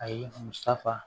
A ye musaka